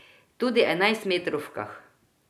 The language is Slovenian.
Tudi enajstmetrovkah.